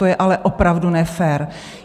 To je ale opravdu nefér.